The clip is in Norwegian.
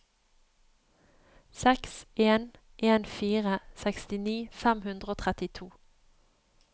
seks en en fire sekstini fem hundre og trettito